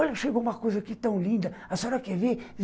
Olha, chegou uma coisa aqui tão linda, a senhora quer ver?